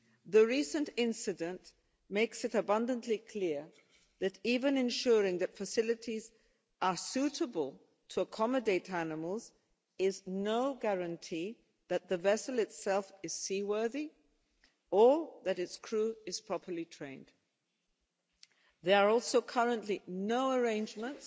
The recent incident makes it abundantly clear that even ensuring that facilities are suitable to accommodate animals is no guarantee that the vessel itself is seaworthy, or that its crew is properly trained. There are also currently no arrangements